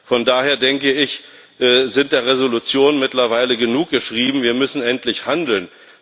Von daher sind der Resolutionen mittlerweile genug geschrieben, wir müssen endlich handeln!